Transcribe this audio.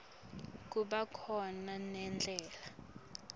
kuba khona nendlala